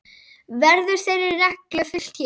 Verður þeirri reglu fylgt hér.